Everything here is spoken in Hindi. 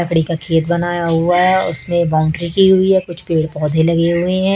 लकड़ी का खेत बनाया हुआ हैं उसमें बाउंड्री की हुई है कुछ पेड़ पौधे लगे हुए है।